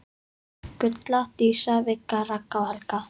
Gulla, Dísa, Vigga, Ragga og Helga.